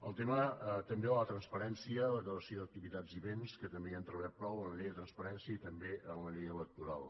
el tema també de la transparència declaració d’activitats i béns que també hi hem treballat prou en la llei de transparència i també en la llei electoral